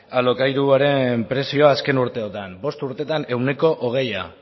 alokairuaren prezioa azken urteotan bost urtetan ehuneko hogeia